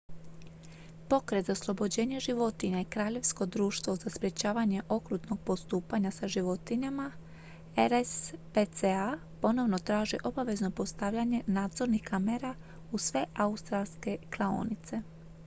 pokret za oslobođenje životinja i kraljevsko društvo za sprječavanje okrutnog postupanja sa životinjama rspca ponovno traže obavezno postavljanje nadzornih kamera u sve australske klaonice